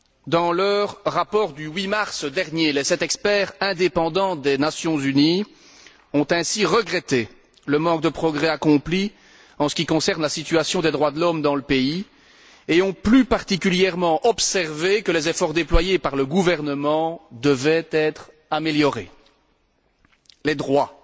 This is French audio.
Dans leur rapport du 8 mars dernier, les sept experts indépendants des Nations unies ont ainsi regretté le manque de progrès accomplis en ce qui concerne la situation des droits de l'homme dans le pays et ont plus particulièrement observé que les efforts déployés par le gouvernement devaient être intensifiés. Les droits